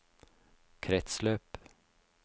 kretsløp